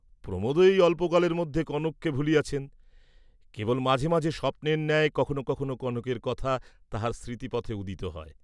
প্রমোদও এই অল্পকাল মধ্যে কনককে ভুলিয়াছেন, কেবল মাঝে মাঝে স্বপ্নের ন্যায় কখনও কখনও কনকের কথা তাঁহার স্মৃতিপথে উদিত হয়।